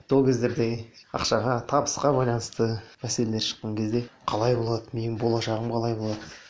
сол кездерде ақшаға табысқа байланысты мәселелер шыққан кезде қалай болады менің болашағым қалай болады